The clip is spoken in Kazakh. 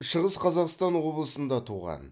шығыс қазақстан облысында туған